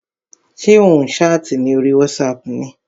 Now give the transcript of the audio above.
Ṣé ò ń ṣáàtì ní orí wátísapù ni?